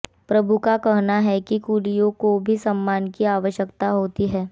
प्रभु का कहना है कि कुलियों को भी सम्मान की आवश्यकता होती है